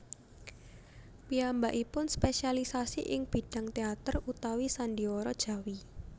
Piyambakipun spésialisi ing bidhang téater utawi sandhiwara Jawi